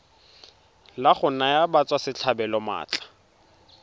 la go naya batswasetlhabelo maatla